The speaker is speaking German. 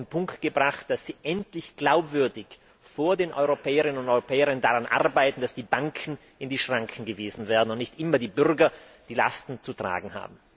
Auf den Punkt gebracht heißt das, dass Sie endlich glaubwürdig vor den Europäerinnen und Europäern daran arbeiten, dass die Banken in die Schranken gewiesen werden und nicht immer die Bürger die Lasten zu tragen haben.